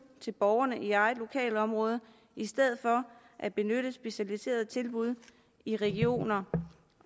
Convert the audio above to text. tilbud i eget lokalområde i stedet for at benytte specialiserede tilbud i regioner